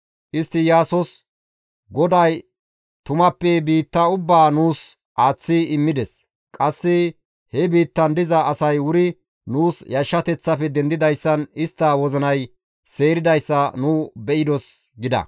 Istti Iyaasos, «GODAY tumappe biitta ubbaa nuus aaththi immides; qasse he biittan diza asay wuri nuus yashshateththafe dendidayssan istta wozinay seeridayssa nu be7idos» gida.